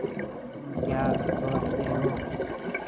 तुम क्या सोचते हो